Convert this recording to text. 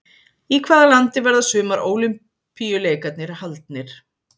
Í hvaða landi verða sumar ólympíuleikarnir haldnir?